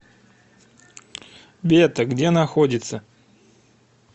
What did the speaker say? бета где находится